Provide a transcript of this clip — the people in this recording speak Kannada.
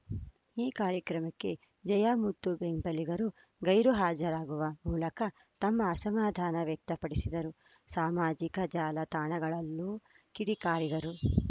ಈ ಕಾರ್ಯಕ್ರಮಕ್ಕೆ ಜಯಮುತ್ತು ಬೆಂಬಲಿಗರು ಗೈರು ಹಾಜರಾಗುವ ಮೂಲಕ ತಮ್ಮ ಅಸಮಾಧಾನ ವ್ಯಕ್ತಪಡಿಸಿದರು ಸಾಮಾಜಿಕ ಜಾಲ ತಾಣಗಳಲ್ಲೂ ಕಿಡಿಕಾರಿದರು